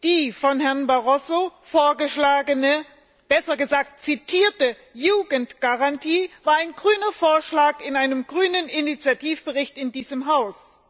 Die von Herrn Barroso vorgeschlagene, besser gesagt zitierte Jugendgarantie war ein grüner Vorschlag in einem grünen Initiativbericht in diesem Haus.